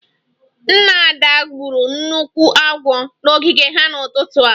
Nna Ada gburu nnukwu agwọ n'ogige ha n'ụtụtụ a